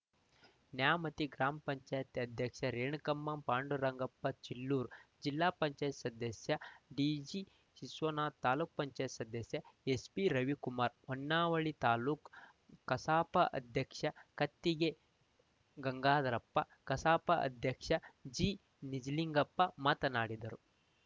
ನ್ಯಾಮತಿ ಗ್ರಾಮ ಪಂಚಾಯತ್ ಅಧ್ಯಕ್ಷೆ ರೇಣುಕಮ್ಮ ಪಾಂಡುರಂಗಪ್ಪ ಚೀಲೂರು ಜಿಲ್ಲಾ ಪಂಚಾಯತ್ ಸದಸ್ಯ ಡಿಜಿ ವಿಶ್ವನಾಥ ತಾಲೂಕ್ ಪಂಚಾಯತ್ ಸದಸ್ಯ ಎಸ್‌ಪಿ ರವಿಕುಮಾರ ಹೊನ್ನಾಳಿ ತಾಲುಕ್ ಕಸಾಪ ಅಧ್ಯಕ್ಷ ಕತ್ತಿಗೆ ಗಂಗಾಧರಪ್ಪ ಕಸಾಪ ಅಧ್ಯಕ್ಷ ಜಿನಿಜಲಿಂಗಪ್ಪ ಮಾತನಾಡಿದರು